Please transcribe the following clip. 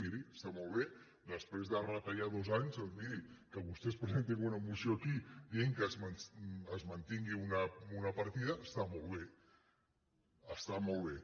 miri està molt bé després de retallar dos anys doncs miri que vostès presentin una moció aquí dient que es mantingui una partida està molt bé està molt bé